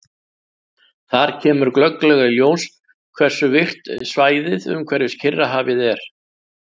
Þar kemur glögglega í ljós hversu virkt svæðið umhverfis Kyrrahafið er.